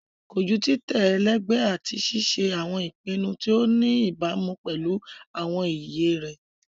Koju titẹ ẹlẹgbẹ ati ṣe awọn ipinnu ti o ni ibamu pẹlu awọn iye rẹ